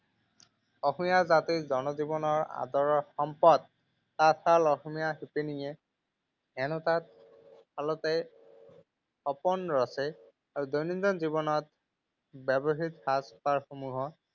অসমীয়া জাতিৰ জনজীৱনৰ আদৰৰ সম্পদ তাঁতশাল অসমীয়া শিপিনীয়ে এনেকুৱা সপোন ৰচে আৰু দৈনন্দিন জীৱনত ব্যৱহৃত সাজপাৰ সমূহক